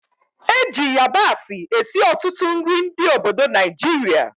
Eji yabasị esi ọtụtụ nri ndị obodo Naijiria